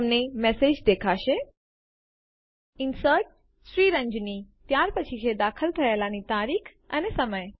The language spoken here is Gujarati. તમને મેસેજ દેખાશે ઇન્સર્ટેડ Sriranjani ત્યાર પછી છે દાખલ થયેલાની તારીખ અને સમય